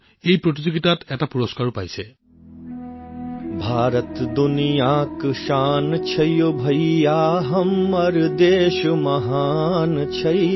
তেওঁ এই প্ৰতিযোগিতাখনত এটা পুৰস্কাৰো লাভ কৰিছে